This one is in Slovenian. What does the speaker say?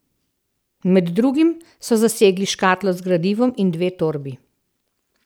Med drugim so zasegli škatlo z gradivom in dve torbi.